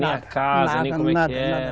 Nem a casa, nem como é que era?